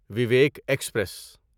Vivek express